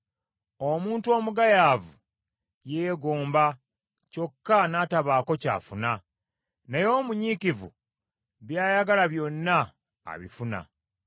Omuntu omugayaavu yeegomba kyokka n’atabaako ky’afuna, naye omunyiikivu byayagala byonna abifuna.